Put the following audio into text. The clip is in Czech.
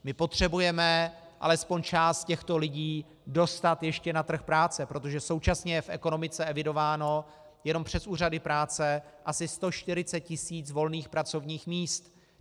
My potřebujeme alespoň část těchto lidí dostat ještě na trh práce, protože současně je v ekonomice evidováno jenom přes úřady práce asi 140 tisíc volných pracovních míst.